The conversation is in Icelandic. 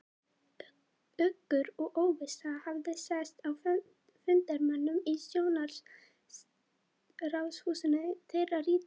Uggur og óvissa hafði sest að fundarmönnum í Stjórnarráðshúsinu, er þeir rýndu inn í framtíðina.